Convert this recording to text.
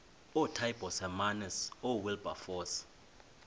ootaaibos hermanus oowilberforce